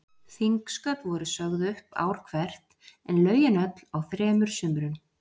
Þingsköp voru sögð upp ár hvert, en lögin öll á þremur sumrum.